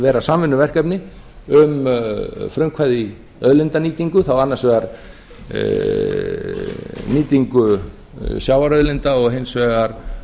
vera samvinnuverkefni um frumkvæði í auðlindanýtingu þá annars vegar nýtingu sjávarauðlinda og hins vegar